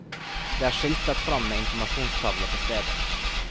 Det er skiltet fram med informasjonstavle på stedet.